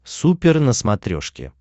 супер на смотрешке